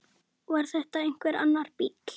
Var þetta einhver annar bíll?